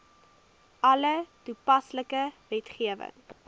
alle toepaslike wetgewing